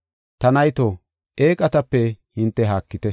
Ta nayto, eeqatape hinte haakite.